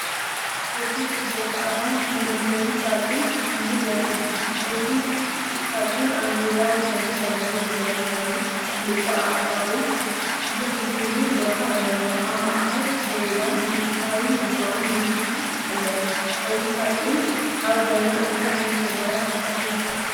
እዚ ጽቡቕ ጻዕዳ መመገቢ ሳጹን እዩ ዘርኢ። እቲ ሳጹን ኣብ ዙርያ ወሰኑ ቀለቤት ዘለዎ ኮይኑ፡ ክልተ ኣእዳው ዝሕዝሉ ቦታ ኣለዎ። ኣብ ማእከል ጽጌረዳን ንጉሳዊ ሪባን ምልክትን ኣለዉ። እዚ ሳጹን ኣብ ገዛ እንታይ ዓይነት ነገራት ከቕርብ ይኽእል?